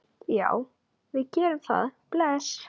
Já, við gerum það. Bless.